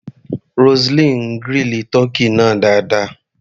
Roseline grill tọ́kì náà dáadáa.